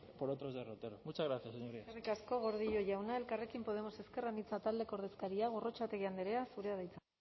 por otros derroteros muchas gracias señorías eskerrik asko gordillo jauna elkarrekin podemos ezker anitza taldeko ordezkaria gorrotxategi andrea zurea da hitza